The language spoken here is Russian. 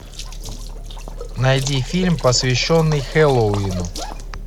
найди фильм посвященный хэллоуину